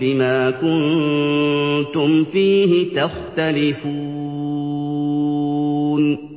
بِمَا كُنتُمْ فِيهِ تَخْتَلِفُونَ